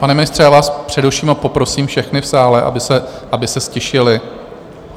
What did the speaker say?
Pane ministře, já vás přeruším a poprosím všechny v sále, aby se ztišili!